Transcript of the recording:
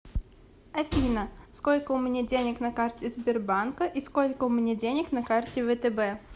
афина сколько у меня денег на карте сбербанка и сколько у меня денег на карте втб